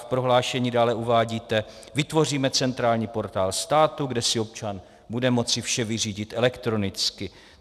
V prohlášení dále uvádíte: "Vytvoříme centrální portál státu, kde si občan bude moci vše vyřídit elektronicky."